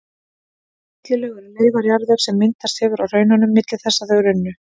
Þessi millilög eru leifar jarðvegs sem myndast hefur á hraununum milli þess að þau runnu.